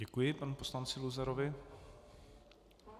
Děkuji panu poslanci Luzarovi.